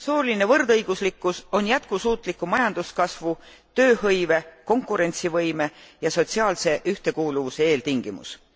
Sooline võrdõiguslikkus on jätkusuutliku majanduskasvu, tööhõive, konkurentsivõime ja sotsiaalse ühtekuuluvuse eeltingimus.